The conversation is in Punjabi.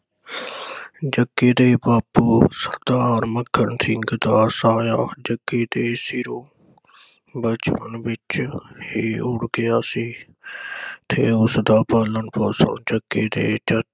ਜੱਗੇ ਦੇ ਬਾਪੂ ਸਰਦਾਰ ਮੱਕੜ ਸਿੰਘ ਦਾ ਸਾਇਆ ਜੱਗੇ ਦੇ ਸਿਰੋਂ ਬਚਪਨ ਵਿਚ ਹੀ ਉਠ ਗਿਆ ਸੀ ਤੇ ਉਸ ਦਾ ਪਾਲਣ ਪੋਸ਼ਣ ਜੱਗੇ ਦੇ ਚਾਚੇ